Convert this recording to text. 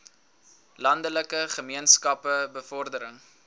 landelike gemeenskappe bevordering